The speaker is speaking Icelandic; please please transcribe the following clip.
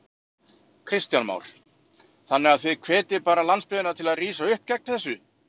Kristján Már: Þannig að þið hvetjið bara landsbyggðina til að rísa upp gegn þessu?